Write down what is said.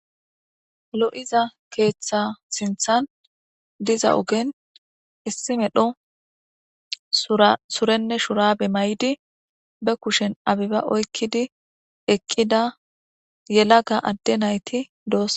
Lo'iza ket so pp eat aha sinthan dizz ogen issi medho surene shurabe mayidi be kushen abeba oykidi eqida yelaga adde asa nayti de'esona.